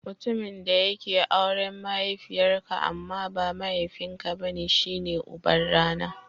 Mutumin da yake auren mahaifiyar ka amma ba mahaifin ka bane shi ne uban rana.